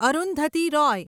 Arundhati Roy